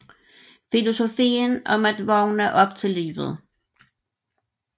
Filosofien om at vågne op til livet